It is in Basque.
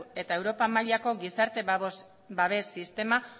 eta europa mailako gizarte babes sistema